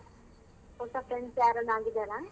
ಹೊಸ friends ಯಾರಾನ ಆಗಿದಾರ?